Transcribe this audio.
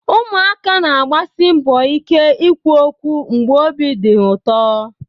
Ụmụaka na-agbasi mbọ ike ikwu okwu mgbe obi dị Dey